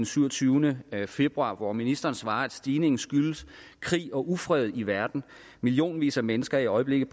syvogtyvende februar hvor ministeren svarede at stigningen skyldes krig og ufred i verden at millionvis af mennesker i øjeblikket